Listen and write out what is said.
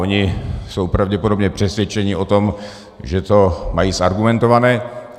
Oni jsou pravděpodobně přesvědčeni o tom, že to mají zargumentované.